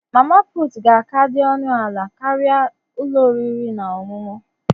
Mama puutu ga-aka dị ọnụ ala karịa ụlọ oriri na ọṅụṅụ.